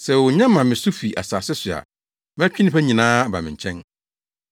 Sɛ wonya ma me so fi asase so a, mɛtwe nnipa nyinaa aba me nkyɛn.”